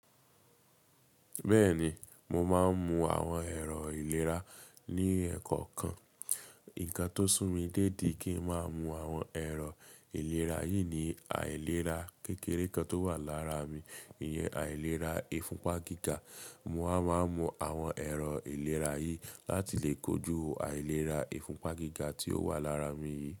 Bẹ́ẹ̀ni, mo máa ń mu àwọn ẹ̀rọ ìlera ní ẹ̀kọ̀kan. Ǹkan tó sún mi déédi ki n má mu àwọn ẹ̀rọ ìlera yìí ni àìlera kékeré kan tó wà lára mi, ìyẹn àìlera ìfúnpá gíga. Mo a máa mu àwọn ẹ̀rọ ìlera yìí láti lè kojú àìlera ìfúnpá gíga tí ó wà lára mi yìí.